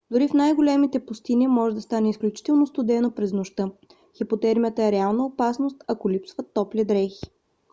дори в най-горещите пустини може да стане изключително студено през нощта. хипотермията е реална опасност ако липсват топли дрехи